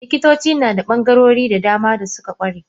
Likitoci nada bangarori da dama da suka kware.